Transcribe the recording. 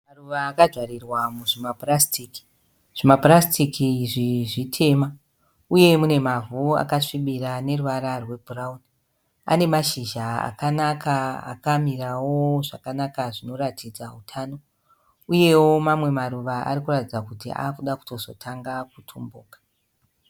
Maruva akajarirwa muzvimapurasitiki. Zvimapurasitiki izvi zvitema. Uye mune mavhu akasvibira ane ruvara rwebhurauni ane mashizha akanaka akamirawo zvakanaka zvinoratidza utano. Uyewo mamwe maruva ari kuratidza kuti akuda kutozotanga kutumbuka